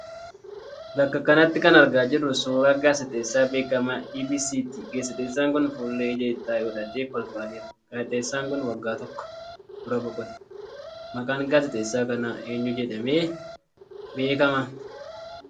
Bakka kanatti kan argaa jirruu suuraa gaaziteessaa beekamaa EBS ti. Gaaziteessaan kun fuullee ijaa ijatti godhatee Kolfaa jira. Gaaziteessaan kun waggaa tokko dura boqote. Maqaan gaaziteessaa kanaa eenyu jedhamee beekama?